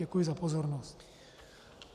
Děkuji za pozornost.